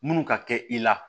Minnu ka kɛ i la